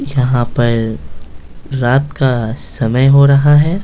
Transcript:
यहां पर रात का समय हो रहा है।